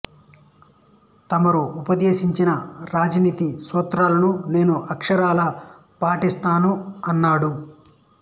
తమరు ఉపదేశించిన రాజనీతి సూత్రాలను నేను అక్షరాల పాటిస్తాను అన్నాడు